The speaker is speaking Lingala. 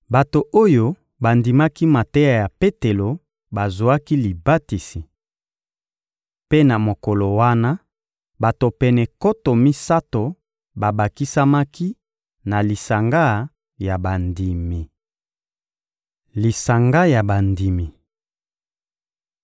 Bato oyo bandimaki mateya ya Petelo bazwaki libatisi. Mpe na mokolo wana, bato pene nkoto misato babakisamaki na lisanga ya bandimi. Lisanga ya bandimi